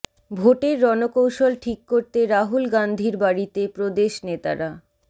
ভোটের রণকৌশল ঠিক করতে রাহুল গান্ধীর বাড়িতে প্রদেশ নেতারা